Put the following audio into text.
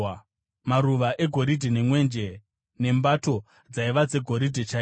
maruva egoridhe nemwenje nembato (dzaiva dzegoridhe chairo);